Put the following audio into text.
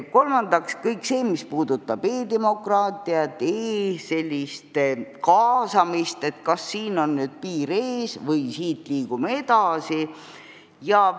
Kolmandaks, kas kõigel sellel, mis puudutab e-demokraatiat, sellist e-kaasamist, on nüüd piir ees või liigume siit edasi?